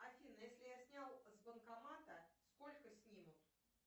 афина если я снял с банкомата сколько снимут